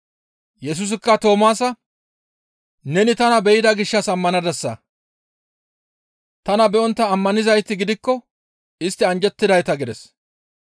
Yesusikka Toomaasa, «Neni tana be7ida gishshas ammanadasa; tana be7ontta ammanizayti gidikko istti anjjettidayta» gides.